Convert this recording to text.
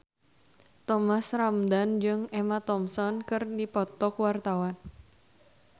Thomas Ramdhan jeung Emma Thompson keur dipoto ku wartawan